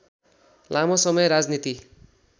लामो समय राजनीति